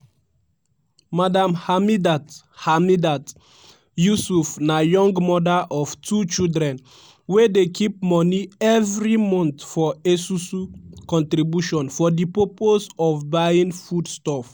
madam hamidat hamidat yusuf na young mother of two children wey dey keep money evri month for 'esusu' contribution for di purpose of buying food stuff.